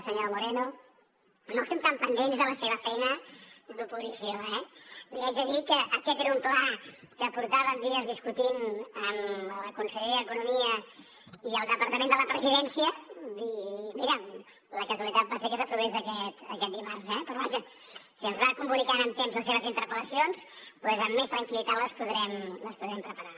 senyor moreno no estem tan pendents de la seva feina d’oposició eh li haig de dir que aquest era un pla que portàvem dies discutint amb la conselleria d’economia i el departament de la presidència i mira la casualitat va ser que s’aprovés aquest dimarts eh però vaja si ens va comunicant amb temps les seves interpel·lacions doncs amb més tranquil·litat les podrem preparar